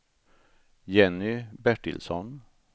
Jenny Bertilsson